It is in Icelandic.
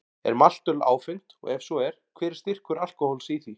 Er maltöl áfengt og ef svo er, hver er styrkur alkóhóls í því?